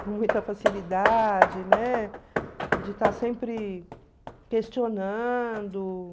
com muita facilidade, né, de estar sempre questionando.